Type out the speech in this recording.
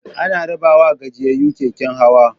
Ana rabawa gajiyayyu keken hawa.